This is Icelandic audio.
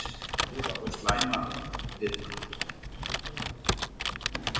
Góð og slæm fita